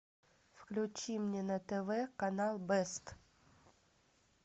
включи мне на тв канал бест